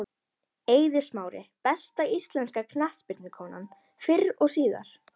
Eiður Smári Besta íslenska knattspyrnukonan fyrr og síðar?